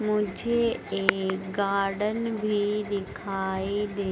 मुझे एक गार्डन भी दिखाई दे--